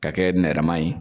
Ka kɛ nɛrɛma ye.